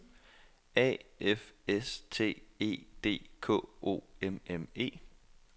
A F S T E D K O M M E